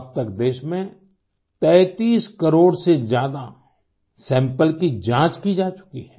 अब तक देश में 33 करोड़ से ज्यादा सैंपल की जाँच की जा चुकी है